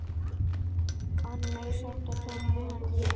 ar mig samt Tom ennþá.